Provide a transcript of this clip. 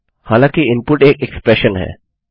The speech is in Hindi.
हालांकि इनपुट एक इक्स्प्रेशन है